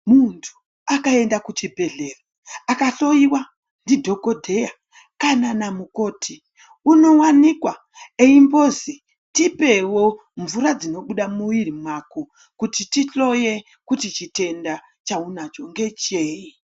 Muntu akaenda kuchibhedhleya akahloyiwa ndidhokodheya kana namukoti uniwanikwa eimbozi tipewo mvura dzinobuda munwiri mako kuti tihloye kuti chitenda chaunacho ngecheyi.